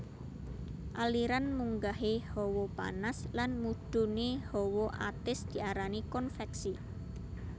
Aliran munggahé hawa panas lan mudhuné hawa atis diarani konveksi